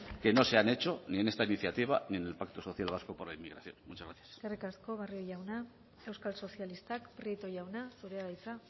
que no se han hecho ni en esta iniciativa ni en el pacto social vasco por la inmigración muchas gracias eskerrik asko barrio jauna euskal sozialistak prieto jauna zurea da hitza